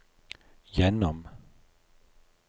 gjennom